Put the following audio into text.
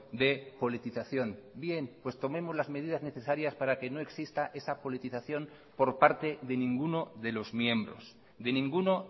de politización bien pues tomemos las medidas necesarias para que no exista esa politización por parte de ninguno de los miembros de ninguno